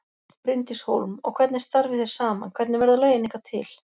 Bryndís Hólm: Og hvernig starfið þið saman, hvernig verða lögin ykkar til?